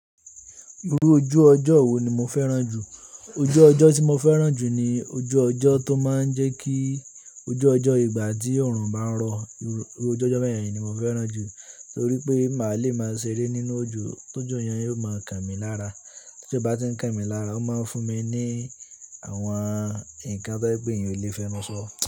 Irú ojú ọjọ́ wo ni mo fẹ́ràn jù? Ojú ọjọ́ tí mo fẹ́ràn jù ni ojú ọjọ́ tó máa ń jẹ́ kí ojú ọjọ́ ìgbà tí oòrùn bá ń rọ. Irú ojú ọjọ́ bẹ́ẹ̀ yẹn ni mo fẹ́ràn jù torí pé màá le máa ṣeré nínú ojú tójò yẹn yóò máa kan mi lára. Tójò bá tí ń kan mi lára, ó máa ń fún mi ní àwọn nǹkan tó yẹ pé èyàn ò lè fẹnu sọ.